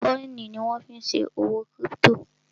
kọ́ìnì ni wọ́n fí n ṣe òwò kírípítò